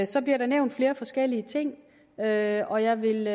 så bliver der nævnt flere forskellige ting og jeg og jeg vil